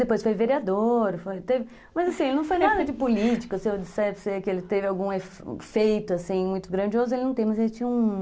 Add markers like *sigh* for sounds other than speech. Depois foi vereador, *unintelligible* mas assim, ele não foi nada de político, se eu disser que ele teve algum efeito, assim, muito grandioso, ele não tem, mas ele tinha um...